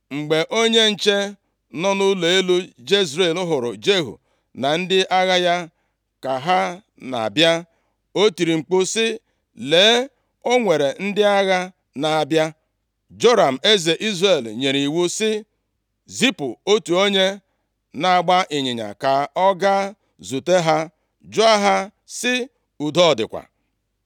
Mgbe onye nche nọ nʼụlọ elu Jezril hụrụ Jehu na ndị agha ya ka ha na-abịa, o tiri mkpu sị, “Lee, o nwere ndị agha na-abịa.” Joram eze Izrel nyere iwu sị, “Zipụ otu onye na-agba ịnyịnya ka ọ gaa zute ha jụọ ha sị, ‘Udo ọ dịkwa?’ ”